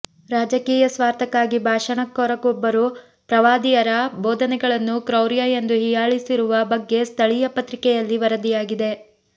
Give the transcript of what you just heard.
ರಾಜಕೀಯ ಸ್ವಾರ್ಥಕ್ಕಾಗಿ ಭಾಷಣಕಾರೊಬ್ಬರು ಪ್ರವಾದಿಯರ ಬೋಧನೆಗಳನ್ನು ಕ್ರೌರ್ಯ ಎಂದು ಹೀಯಾಳಿಸಿರುವ ಬಗ್ಗೆ ಸ್ಥಳೀಯ ಪತ್ರಿಕೆಯಲ್ಲಿ ವರದಿಯಾಗಿದೆ